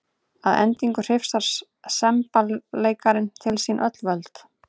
Að endingu hrifsar semballeikarinn til sín öll völd.